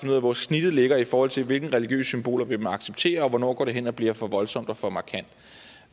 ud af hvor snittet ligger i forhold til hvilke religiøse symboler vi må acceptere og hvornår det går hen og bliver for voldsomt og for markant